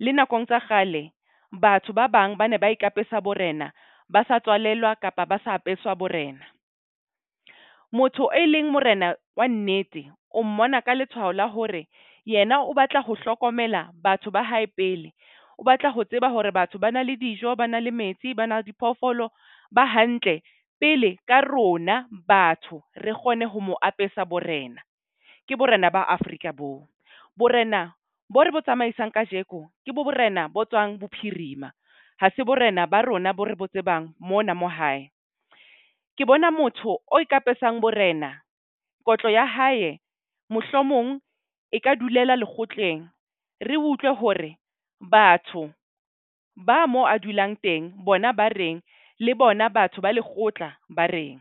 Le nakong tsa kgale batho ba bang ba ne ba ikapesa borena, ba sa tswalelwa kapa ba sa apeswa borena. Motho e leng morena wa nnete, o mmona ka letshwao la hore yena o batla ho hlokomela batho ba hae pele. O batla ho tseba hore batho ba na le dijo, ba na le metsi, ba na diphoofolo ba hantle pele ka rona batho. Re kgone ho mo apesa borena. Ke borena ba Afrika boo. Borena bo re bo tsamaisang kajeko ke borena bo tswang bophirima. Ha se borena ba rona bo re bo tsebang mona mo hae. Ke bona motho o ikapesang borena kotlo ya hae mohlomong e ka dulela lekgotleng. Re utlwe hore batho ba mo a dulang teng bona ba reng le bona batho ba lekgotla ba reng.